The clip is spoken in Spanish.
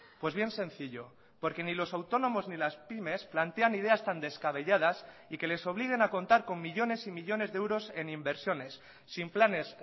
pues bien sencillo porque ni los autónomos ni las pymes plantean ideas tan descabelladas y que les obliguen a contar con millónes y millónes de euros en inversiones sin planes